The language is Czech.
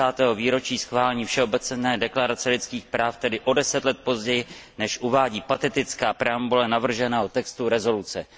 50. výročí schválení Všeobecné deklarace lidských práv, tedy o deset let později, než uvádí patetická preambule navrženého textu usnesení.